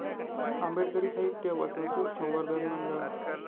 आंबेडकरी साहित्य व संस्कृत संवर्धन मंडळ